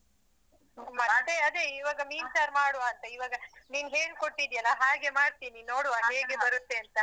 ಮತ್ತೆ ಅದೆ ಈವಾಗ ಮೀನ್ ಸಾರ್ ಮಾಡುವ ಅಂತ ಈವಾಗ ನೀನ್ ಹೇಳ್ಕೊಟ್ಟಿದೀಯಲ್ಲ ಹಾಗೆ ಮಾಡ್ತೀನಿ ನೋಡುವ ಹೇಗೆ ಬರುತ್ತೆ ಅಂತ.